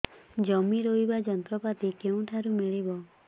ଜମି ରୋଇବା ଯନ୍ତ୍ରପାତି କେଉଁଠାରୁ ମିଳିବ